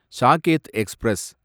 ஷாகெத் express